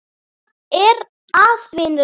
Hvað er að, vinur minn?